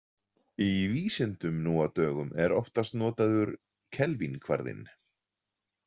Í vísindum nú á dögum er oftast notaður kelvínkvarðinn.